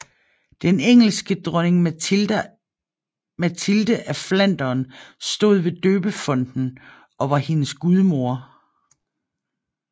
Den engelske dronning Matilde af Flandern stod ved døbefonten og var hendes gudmor